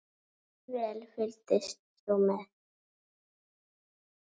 Hversu vel fylgdist þú með?